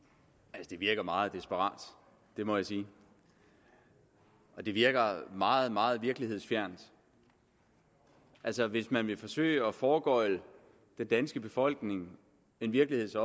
det virker meget desperat det må jeg sige og det virker meget meget virkelighedsfjernt altså hvis man vil forsøge at foregøgle den danske befolkning en virkelighed